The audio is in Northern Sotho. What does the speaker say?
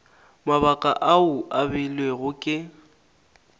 mabaka ao a beilwego ke